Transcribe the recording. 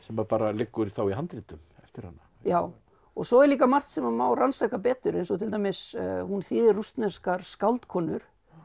bara liggur í handritum eftir hana já og svo er líka margt sem má rannsaka betur eins og til dæmis hún þýðir rússneskar skáldkonur